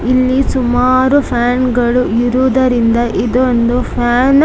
ಇಲ್ಲಿ ಸುಮಾರು ಫಾನ್‌ಗಳು ಇರುವುದರಿಂದ ಇದೊಂದು ಫಾನ್‌